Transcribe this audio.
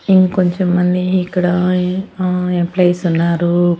ఇంకొంచెం మంది ఇక్కడా ఎంప్లాయిస్ ఉన్నారు.